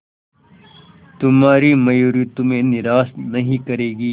तुम्हारी मयूरी तुम्हें निराश नहीं करेगी